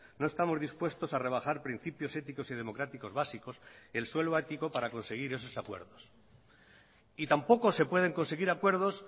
no estamos dispuestos a rebajar principios éticos y democráticos básicos el suelo ético para conseguir esos acuerdos y tampoco se pueden conseguir acuerdos